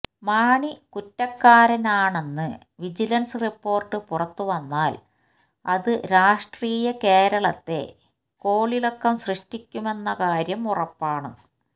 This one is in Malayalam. മാണി കുറ്റക്കാരനാണെന്ന് വിജിലൻസ് റിപ്പോർട്ട് പുറത്തുവന്നാൽ അത് രാഷ്ട്രീയ കേരളത്തെ കോളിളക്കം സൃഷ്ടിക്കുമെന്ന കാര്യം ഉറപ്പാണ്